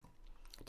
DR2